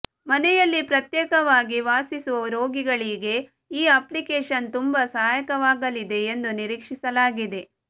ಮನೆಯಲ್ಲಿ ಪ್ರತ್ಯೇಕವಾಗಿ ವಾಸಿಸುವ ರೋಗಿಗಳಿಗೆ ಈ ಅಪ್ಲಿಕೇಶನ್ ತುಂಬಾ ಸಹಾಯಕವಾಗಲಿದೆ ಎಂದು ನಿರೀಕ್ಷಿಸಲಾಗಿದೆ